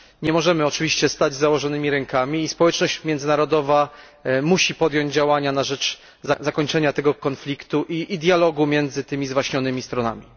Nie możemy oczywiście stać z założonymi rękami i społeczność międzynarodowa musi podjąć działania na rzecz zakończenia tego konfliktu i podjęcia dialogu między tymi zwaśnionymi stronami.